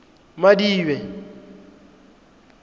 madibe